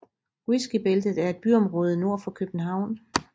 Whiskybæltet er et byområde nord for København